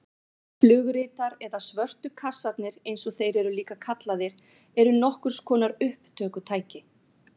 Flugritar eða svörtu kassarnir eins og þeir eru líka kallaðir eru nokkurs konar upptökutæki.